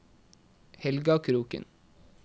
Helga Kroken